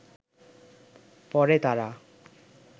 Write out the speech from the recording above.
পড়ে তাঁরা